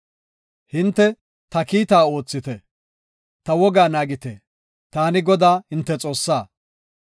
Hinte ta kiitta oothite; ta wogaa naagite; taani Godaa, hinte Xoossaa.